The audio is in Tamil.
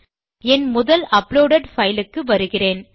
என் முதல் அப்லோடெட் பைல் க்கு வருகிறேன்